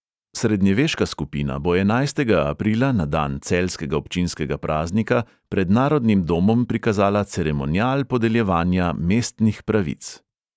Srednjeveška skupina bo enajstega aprila na dan celjskega občinskega praznika pred narodnim domom prikazala ceremonial podeljevanja mestnih pravic.